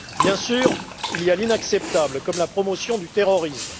Bien sûr, il y a l'inacceptable, comme la promotion du terrorisme.